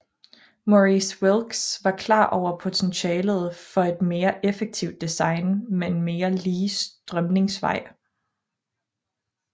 Maurice Wilks var klar over potentialet for et mere effektivt design med en mere lige strømningsvej